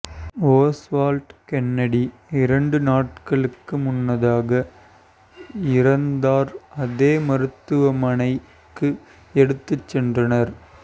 Oswald Kennedy இரண்டு நாட்களுக்கு முன்னதாக இறந்தார் அதே மருத்துவமனைக்கு எடுத்துச் சென்றனர்